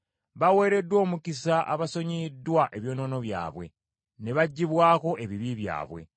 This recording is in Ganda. “Baweereddwa omukisa, abasonyiyiddwa ebyonoono byabwe, ne baggyibwako ebibi byabwe.